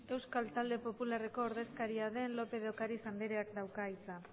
euskal talde popularreko ordezkaria den lópez de ocáriz andreak dauka hitza